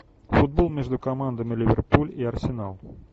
футбол между командами ливерпуль и арсенал